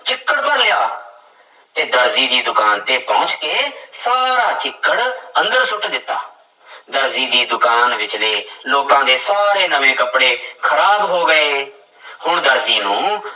ਚਿੱਕੜ ਭਰ ਲਿਆ, ਤੇ ਦਰਜੀ ਦੀ ਦੁਕਾਨ ਤੇ ਪਹੁੰਚ ਕੇ ਸਾਰਾ ਚਿੱਕੜ ਅੰਦਰ ਸੁੱਟ ਦਿੱਤਾ ਦਰਜੀ ਦੀ ਦੁਕਾਨ ਵਿੱਚਲੇ ਲੋਕਾਂ ਦੇ ਸਾਰੇ ਨਵੇਂ ਕੱਪੜੇ ਖ਼ਰਾਬ ਹੋ ਗਏ ਹੁਣ ਦਰਜੀ ਨੂੰ